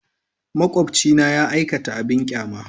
Makwabcina ya aikata abin ƙyama.